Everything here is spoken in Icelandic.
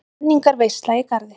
Menningarveisla í Garði